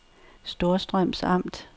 Storstrøms Amt